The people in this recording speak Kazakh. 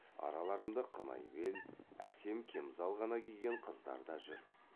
араларында қынай бел әсем кемзал ғана киген қыздар да жүр